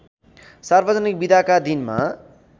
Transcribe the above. सार्वजनिक बिदाका दिनमा